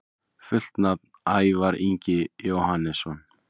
Fullt nafn: Ævar Ingi Jóhannesson